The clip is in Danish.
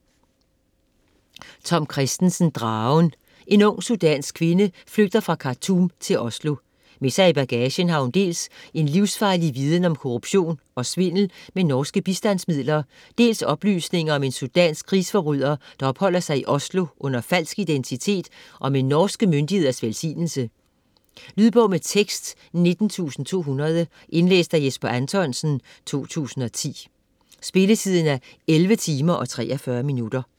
Kristensen, Tom: Dragen En ung sudansk kvinde flygter fra Khartoum til Oslo. Med sig i bagagen har hun dels en livsfarlig viden om korruption og svindel med norske bistandsmidler, dels oplysninger om at en sudansk krigsforbryder opholder sig i Oslo under falsk identitet og med de norske myndigheders velsignelse. Lydbog med tekst 19200 Indlæst af Jesper Anthonsen, 2010. Spilletid: 11 timer, 43 minutter.